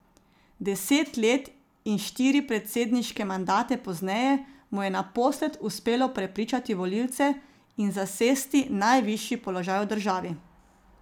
Deset let in štiri predsedniške mandate pozneje mu je naposled uspelo prepričati volivce in zasesti najvišji položaj v državi.